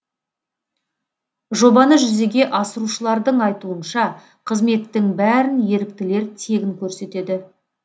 жобаны жүзеге асырушылардың айтуынша қызметтің бәрін еріктілер тегін көрсетеді